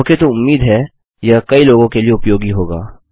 okay तो उम्मीद है यह कई लोगों के लिए उपयोगी होगा